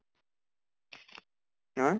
হা?